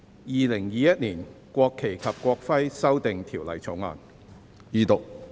《2021年國旗及國徽條例草案》。